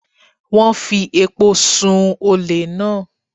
Wọ́n fi epo sun-ùn olè náà.